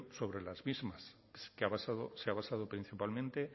sobre las mismas que se ha basado principalmente